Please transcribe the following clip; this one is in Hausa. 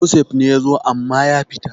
Joseph ne ya zo amma ya fita